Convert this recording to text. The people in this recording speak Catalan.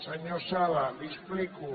senyor sala li ho explico